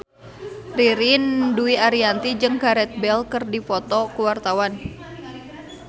Ririn Dwi Ariyanti jeung Gareth Bale keur dipoto ku wartawan